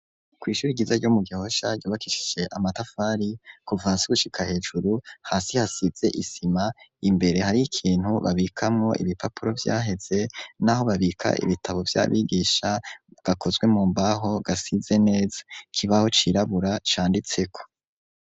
Kw'ihuri ryiza ryo mu Gihosha ryubakishije amatafari kuva hasi gushika hejuru. Hasi hasize isima, imbere hari ikintu babikamwo ibipapuro vyaheze, n'aho babika ibitabo vy'abigisha, gakozwe mu mbaho, gasize neza. Ikibaho cirabura canditseko